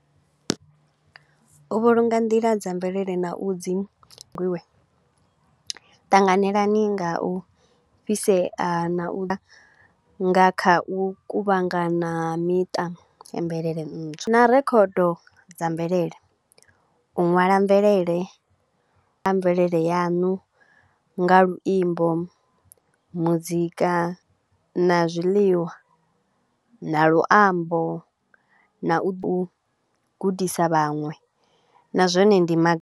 U vhulunga nḓila dza mvelele na u dzi ṱanganelani nga u fhisea na u nga kha u kuvhangana ha miṱa mvelele ntswa na record dza mvelele. U ṅwala mvelele kha mvelele yanu nga luimbo, muzika na zwiḽiwa na luambo na u gudisa vhaṅwe na zwone ndi ma.